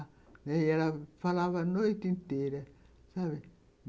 E ela falava a noite inteira, sabe?